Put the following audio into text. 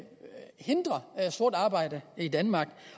hindre sort arbejde i danmark